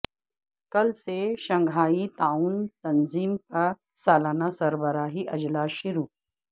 کل سے شنگھائی تعاون تنظیم کا سالانہ سربراہی اجلاس شروع